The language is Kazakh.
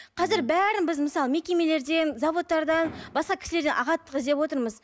қазір бәрін біз мысалы мекемелерден заводтардан басқа кісілерден ағаттық іздеп отырмыз